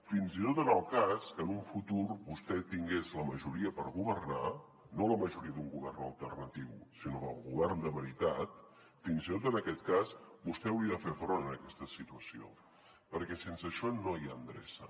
fins i tot en el cas que en un futur vostè tingués la majoria per governar no la majoria d’un govern alternatiu sinó del govern de veritat fins i tot en aquest cas vostè hauria de fer front a aquesta situació perquè sense això no hi ha endreça